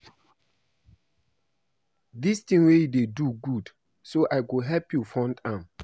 Dis thing wey you dey do good so I go help you fund am